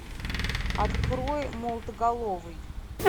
открой молотоголовый